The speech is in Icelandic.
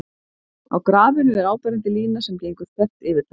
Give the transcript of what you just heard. á grafinu er áberandi lína sem gengur þvert yfir það